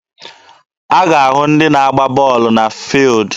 A ga-ahụ ndị na agba bọọlụ na fuildi.